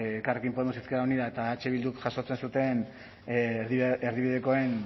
elkarrekin podemos izquierda unida eta eh bilduk jasotzen zuten erdibidekoen